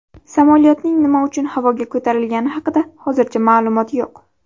Samolyotning nima uchun havoga ko‘tarilgani haqida hozircha ma’lumot yo‘q.